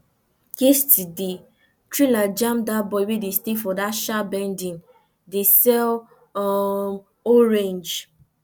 yesterday trailer jam dat boy wey dey stay for that sharp bending dey sell um orange